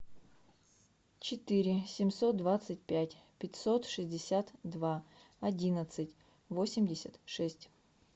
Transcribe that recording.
четыре семьсот двадцать пять пятьсот шестьдесят два одиннадцать восемьдесят шесть